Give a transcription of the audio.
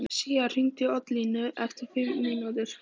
Sía, hringdu í Oddlínu eftir fimm mínútur.